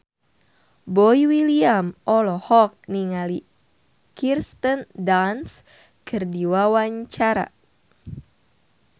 Boy William olohok ningali Kirsten Dunst keur diwawancara